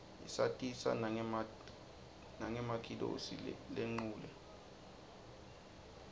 isatisa nanqemakitosi lenqule